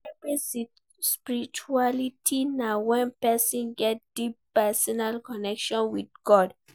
Private spirituality na when persin get deep personal connection with God